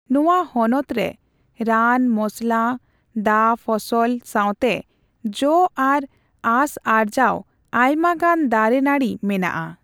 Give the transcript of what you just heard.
ᱱᱚᱣᱟ ᱦᱚᱱᱚᱛ ᱨᱮ ᱨᱟᱱ, ᱢᱚᱥᱞᱟ, ᱫᱟ ᱯᱷᱚᱥᱚᱞ ᱥᱟᱣᱛᱮ ᱡᱚ ᱟᱨ ᱟᱸᱥ ᱟᱨᱡᱟᱣ ᱚᱭᱢᱟᱜᱟᱱ ᱫᱟᱨᱮ ᱱᱟᱹᱲᱤ ᱢᱮᱱᱟᱜᱼᱟ ᱾